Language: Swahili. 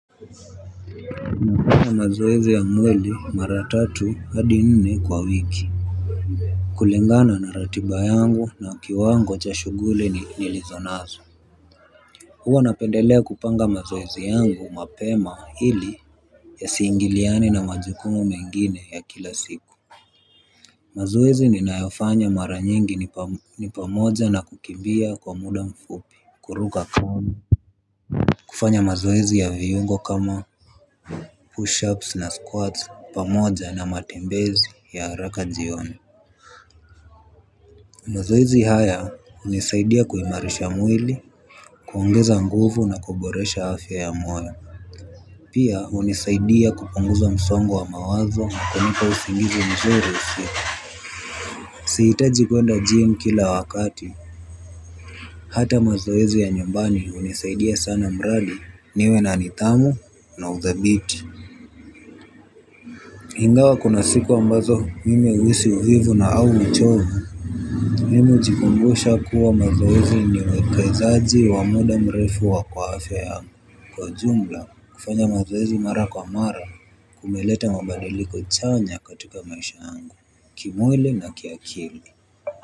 Nafanya mazoezi ya mwili mara tatu hadi nne kwa wiki. Kulingana na ratiba yangu na kiwango cha shughuli ni nilizonazo. Huwa napendelea kupanga mazoezi yangu mapema ili yasiingiliane na majukumu mengine ya kila siku. Mazoezi ninayofanya mara nyingi ni pamoja na kukimbia kwa muda mfupi kuruka kamba. Kufanya mazoezi ya viungo kama push-ups na squats pamoja na matembezi ya haraka jioni. Mzoezi haya hunisaidia kuimarisha mwili kuongeza nguvu na kuboresha afya ya mwana. Pia hunisaidia kupunguza msongo wa mawazo kunipa usingizi mzurii usio sihitaji kwenda gym kila wakati. Hata mzoezi ya nyumbani hunisaidia sana mradi niwe na nidhamu na uthabiti ingawa kuna siku ambazo mimi huhisi uvivu na au uchovu. Mimi hujikumbusha kuwa mazoezi ni uwekezaji wa muda mrefu wa kwa afya yangu. Kwa jumla kufanya mazoezi mara kwa mara kumeleta mabadilko chanya katika maisha yangu. Kimwili na kiakili.